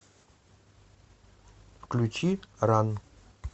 включи ран